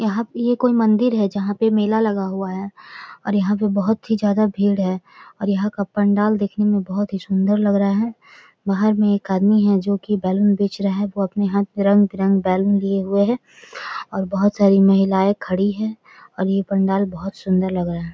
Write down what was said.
यहाँ पे ये कोई मंदिर है जहां पे मेला लगा हुआ है और यहाँ पे बहुत ही ज्यादा भीड़ है और यहाँ का पंडाल देखने मे बहुत ही सुन्दर दिख रहा है बहार मे एक आदमी है जो की बैलून बेच रहा है वो अपने हाथ में रंग भी रंग बैलून लिए हुए है और बहुत सारी महिलाये खड़ी है और ये पंडाल बहुत सुन्दर लग रहा है।